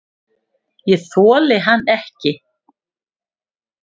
Ég þoli hann ekki.